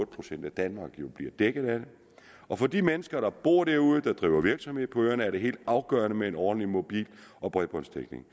procent af danmark jo bliver dækket af det og for de mennesker der bor derude og driver virksomhed på øerne er det helt afgørende med en ordentlig mobil og bredbåndsdækning